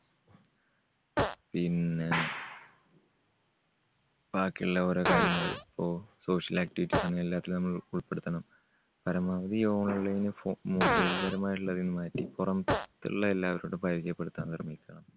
പിന്നെ ബാക്കിയുള്ള ഓരോ കാര്യങ്ങള് ഇപ്പോ social activities അങ്ങനെ എല്ലാത്തിലും നമ്മൾ ഉൾപ്പെടുത്തണം. പരമാവധി online ഫോ mobile പരമായിട്ടുള്ളതിങ്ങ് മാറ്റി പുറ~ത്തുള്ള എല്ലാവരോടും പരിചയപ്പെടുത്താൻ ശ്രമിക്കണം.